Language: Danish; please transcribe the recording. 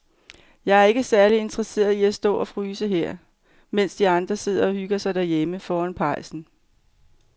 Jeg er ikke særlig interesseret i at stå og fryse her, mens de andre sidder og hygger sig derhjemme foran pejsen.